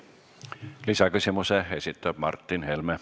Lisaküsimuse esitab Martin Helme.